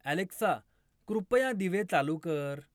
Alexa कृपया दिवे चालू कर